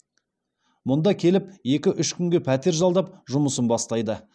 мұнда келіп екі үш күнге пәтер жалдап жұмысын бастайды